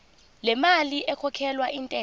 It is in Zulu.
lemali ekhokhelwa intela